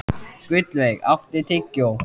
Gullveig, áttu tyggjó?